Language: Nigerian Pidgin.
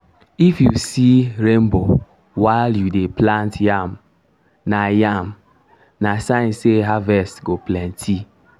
if you see rainbow while you dey plant yam? na yam? na sign say harvest go plenty.